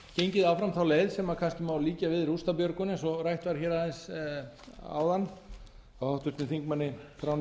gengið áfram þá leið sem kannski má líkja við rústabjörgun eins og rætt var hér aðeins áðan hjá háttvirtum þingmanni þráni